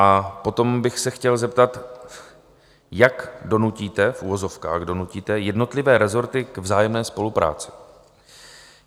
A potom bych se chtěl zeptat, jak donutíte - v uvozovkách donutíte - jednotlivé rezorty k vzájemné spolupráci?